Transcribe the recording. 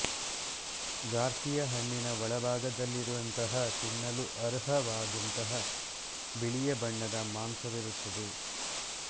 ಗಾರ್ಸಿಯ ಹಣ್ಣಿನ ಒಳಭಾಗದಲ್ಲಿರುವಂತಹ ತಿನ್ನಲು ಅರ್ಹವಾದಂತಹ ಬಿಳಿಯ ಬಣ್ಣದ ಮಾಂಸವಿರುತ್ತದೆ